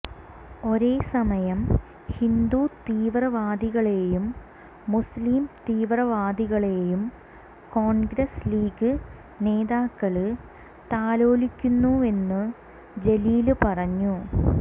ഒരേ സമയം ഹിന്ദു തീവ്രവാദികളേയും മുസ്ലിം തീവ്രവാദികളേയും കോണ്ഗ്രസ് ലീഗ് നേതാക്കള് താലോലിക്കുന്നുവെന്നും ജലീല് പറഞ്ഞു